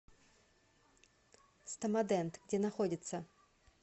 стомадент где находится